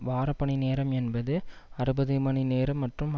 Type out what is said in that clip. வார பணி நேரம் என்பது அறுபது மணி நேரம் மற்றும்